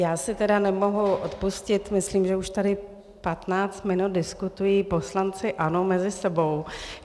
Já si tedy nemohu odpustit, myslím, že už tady 15 minut diskutují poslanci ANO mezi sebou.